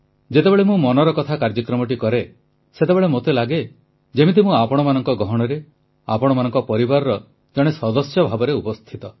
ଯେତେବେଳେ ମୁଁ ମନର କଥା କାର୍ଯ୍ୟକ୍ରମଟି କରେ ସେତେବେଳେ ମୋତେ ଲାଗେ ଯେମିତି ମୁଁ ଆପଣମାନଙ୍କ ଗହଣରେ ଆପଣଙ୍କ ପରିବାରର ଜଣେ ସଦସ୍ୟ ଭାବରେ ଉପସ୍ଥିତ